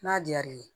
N'a diyar'i ye